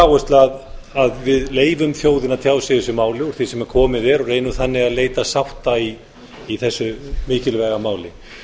áherslu að við leyfum þjóðinni að tjá sig í þessu máli úr því sem komið er og reynum þannig að leita sátta í þessu mikilvæga máli